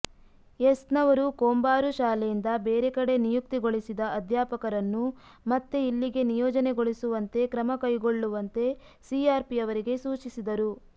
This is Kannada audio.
ಎಸ್ನವರು ಕೊಂಬಾರು ಶಾಲೆಯಿಂದ ಬೇರೆ ಕಡೆ ನಿಯುಕ್ತಿಗೊಳಿಸಿದ ಅಧ್ಯಾಪಕರನ್ನು ಮತ್ತೆ ಇಲ್ಲಿಗೆ ನಿಯೋಜನೆಗೊಳಿಸುವಂತೆ ಕ್ರಮ ಕೈಗೊಳ್ಳುವಂತೆ ಸಿಆರ್ಪಿಯವರಿಗೆ ಸೂಚಿಸಿದರು